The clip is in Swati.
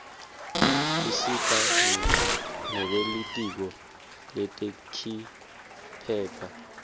tisita nebelitiko letekiphepha